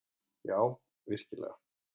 Já, virkilega.